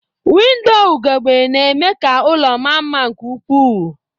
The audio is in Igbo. Windoo ugegbe na-eme ka ụlọ maa mma nke ukwuu